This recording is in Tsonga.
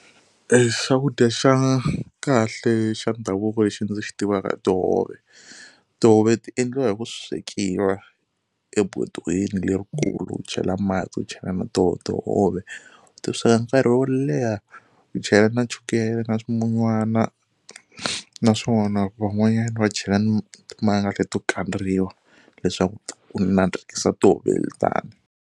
Xakudya xa kahle xa ndhavuko lexi ndzi xi tivaka i tihove, tihove ti endliwa hi ku swekiwa ebodweni lerikulu u chela mati u chela na toho tihove u ti sweka nkarhi wo leha u chela na chukele na swimunywana naswona van'wanyana va chela ni timanga leto kandziwa leswaku ku nandzikisa tihove .